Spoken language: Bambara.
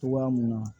Togoya mun na